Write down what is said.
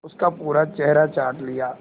उसका पूरा चेहरा चाट लिया